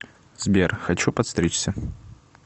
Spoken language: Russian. сбер хочу подстричься